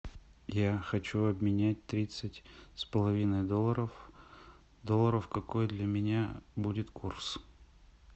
я хочу обменять тридцать с половиной долларов долларов какой для меня будет курс